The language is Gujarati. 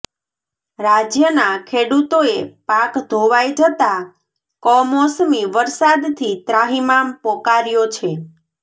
રાજયના ખેડૂતોએ પાક ધોવાઇ જતાં કમોસમી વરસાદથી ત્રાહિમામ પોકાર્યો છે